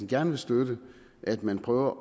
gerne vil støtte at man prøver